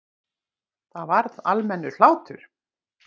Það varð almennur hlátur.